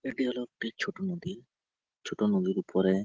এটি হলো একটি ছোটো নদী | ছোটো নদীর ওপরে --